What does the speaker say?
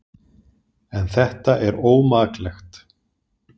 En þetta er ómaklegt.